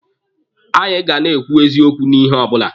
Anyị ga na-ekwu eziokwu n'ihe ọbụla.